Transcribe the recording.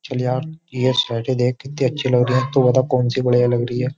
चल यार ये साइट देख कितनी अच्छी लग रही है तू बता कौन सी बढ़िया लग रही है।